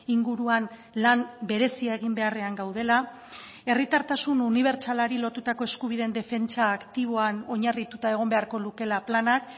inguruan lan berezia egin beharrean gaudela herritartasun unibertsalari lotutako eskubideen defentsa aktiboan oinarrituta egon beharko lukeela planak